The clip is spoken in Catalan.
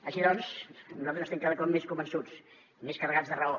així doncs nosaltres estem cada cop més convençuts més carregats de raó